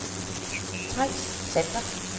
Theis Sander